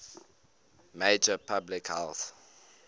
major public health